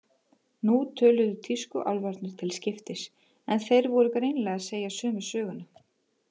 Nú töluðu tískuálfarnir til skiptis, en þeir voru greinilega að segja sömu söguna.